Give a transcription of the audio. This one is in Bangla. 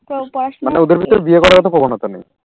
মানে ওদের ভিতর বিয়ে করার ওতো প্রবণতা নেই।